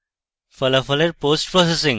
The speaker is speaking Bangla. ফলাফলের পোস্টপ্রসেসিং